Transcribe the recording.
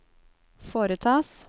foretas